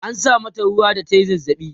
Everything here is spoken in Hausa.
an sa mata ruwa da tayi zazzabi